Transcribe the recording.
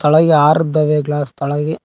ಒಳಗೆ ಆರ್ ಇದಾವೆ ಗ್ಲಾಸ್ ತೆಳಗೇ.